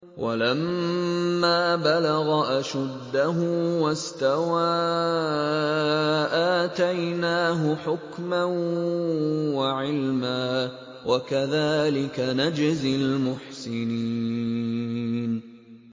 وَلَمَّا بَلَغَ أَشُدَّهُ وَاسْتَوَىٰ آتَيْنَاهُ حُكْمًا وَعِلْمًا ۚ وَكَذَٰلِكَ نَجْزِي الْمُحْسِنِينَ